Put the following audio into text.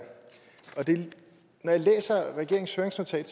når jeg læser regeringens høringsnotat